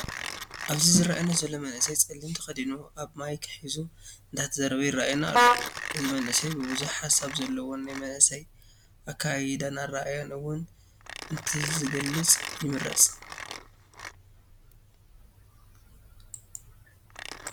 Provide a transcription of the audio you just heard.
ኣብዚ ዝረኣየና ዘሎ መንእሰይ ፀሊም ተከዲኑ ኣብ ማይክ ሑዙ እንዳተዛረበ የረኣና ኣሎ። እዚ መንእሰይ ብዝሕ ሓሳብ ዘለዎን ናይ መናእሰይ ኣከያይዳን ኣርኣያን እውን እተዝገልፀ ይምረፅ።